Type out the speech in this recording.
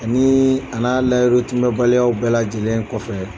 Ani a n'a layiru tiimɛ baliyaw bɛɛ lajɛlen kɔfɛ